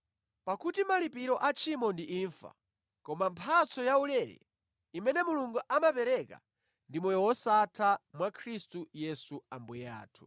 Pakuti malipiro a tchimo ndi imfa, koma mphatso yaulere imene Mulungu amapereka ndi moyo wosatha mwa Khristu Yesu Ambuye athu.